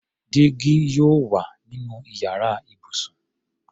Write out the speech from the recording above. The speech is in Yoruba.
Dígí yóò wà nínú yàrá ibùsùn.